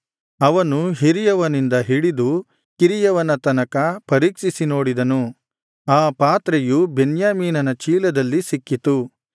ಅವನು ಹಿರಿಯವನಿಂದ ಹಿಡಿದು ಕಿರಿಯವನ ತನಕ ಪರೀಕ್ಷಿಸಿ ನೋಡಿದನು ಆ ಪಾತ್ರೆಯು ಬೆನ್ಯಾಮೀನನ ಚೀಲದಲ್ಲಿ ಸಿಕ್ಕಿತು